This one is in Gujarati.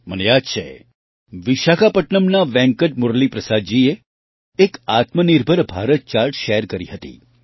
મને યાદ છે વિશાખાપટ્નમના વેંકટ મુરલી પ્રસાદજીએ એક આત્મનિર્ભર ભારત ચાર્ટ શેર કરી હતી